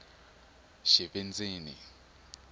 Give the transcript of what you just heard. xivindzini